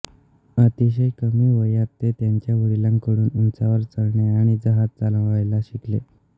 अतिशय कमी वयात ते त्यांच्या वडिलांकडून उंचावर चढणे आणि जहाज चालवायला शिकले